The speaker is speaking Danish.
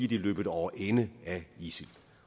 de løbet over ende af isil